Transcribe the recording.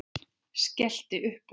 Skellti upp úr.